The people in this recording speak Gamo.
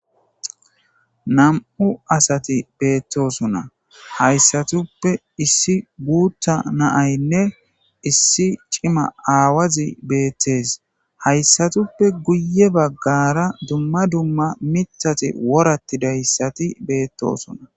nam7u asati beettosonna hayssatuppe issi guutta naaynne issi cima aawazi beettes hayssatuppe guye baggara dumma dumma mithati worattidayssati beettosona